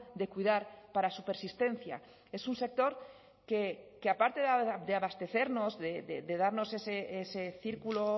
de cuidar para su persistencia es un sector que aparte de abastecernos de darnos ese círculo